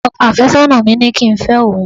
ọkọ afesona mi ni ki n fẹ oun